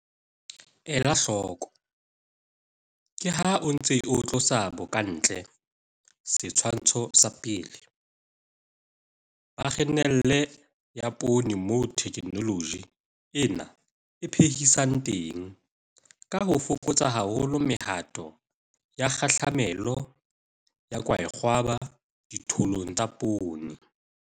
Ela hloko- Ke ha o ntse o tlosa bokantle, Setshwantsho sa 1, ba khenele ya poone moo theknoloji ena e phehisang teng ka ho fokotsa haholo mehato ya kgahlamelo ya kwaekgwaba dithollong tsa poone.